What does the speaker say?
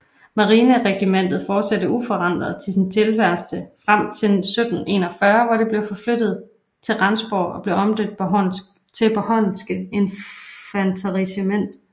Marineregimentet fortsatte uforandret sin tilværelse frem til 1741 hvor det blev flyttet til Rendsborg og blev omdøbt til Bornholmske infanteriregiment